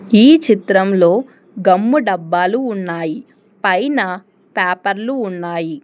ఈ చిత్రంలో గమ్ము డబ్బాలు ఉన్నాయి పైన పేపర్లు ఉన్నాయి.